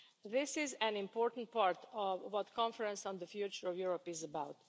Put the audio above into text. This is an important part of what the Conference on the Future of Europe is about.